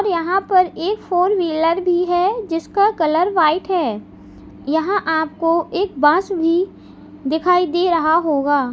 यहां पर एक फोर व्हीलर भी है जिसका कलर व्हाइट है यहां आपको एक बास भी दिखाई दे रहा होगा।